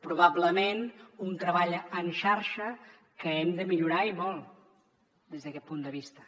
probablement un treball en xarxa que hem de millorar i molt des d’aquest punt de vista